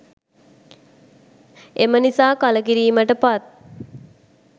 එම නිසා කළකිරීමට පත්